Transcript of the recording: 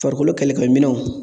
Farikolo kɛlɛkɛminɛnw